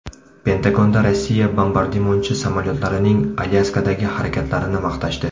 Pentagonda Rossiya bombardimonchi samolyotlarining Alyaskadagi harakatlarini maqtashdi.